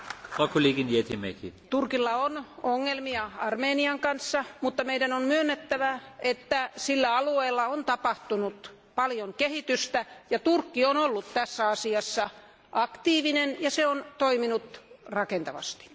Arvoisa puhemies, Turkilla on ongelmia Armenian kanssa, mutta meidän on myönnettävä, että sillä alueella on tapahtunut paljon kehitystä ja Turkki on ollut tässä asiassa aktiivinen ja se on toiminut rakentavasti.